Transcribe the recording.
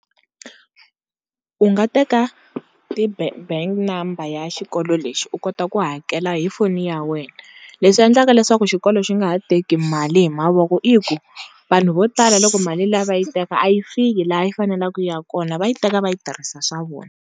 U nga teka ti-bank number ya xikolo lexi u kota ku hakela hi foni ya wena leswi endlaka leswaku xikolo xi nga ha teki mali hi mavoko i ku vanhu vo tala loko mali liya va yi teka a yi fiki laha yi faneleke yi ya kona va yi teka va yi tirhisa swa vona.